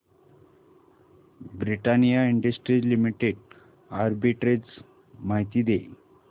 Britannia industries limited arbitrage माहिती दे